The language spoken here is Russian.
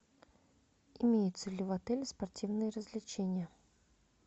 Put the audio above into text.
имеются ли в отеле спортивные развлечения